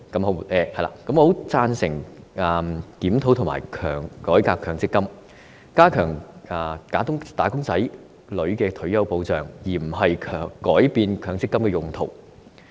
我很贊成檢討和改革強積金，加強"打工仔女"的退休保障，而非改變強積金的用途。